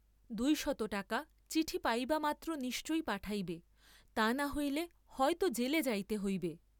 দুই শত টাকা চিঠি পাইবামাত্র নিশ্চই পাঠাইবে, তা না হইলে হয় তো জেলে যাইতে হইবে।